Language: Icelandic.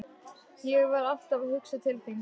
Ég var alltaf að hugsa til þín.